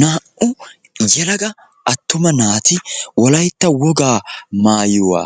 Naa"u yelaga attuma naati wolaytta wogaa maayuwa